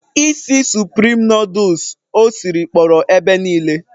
Isi suprim nọdụs o siri kpọrọ ebe niile.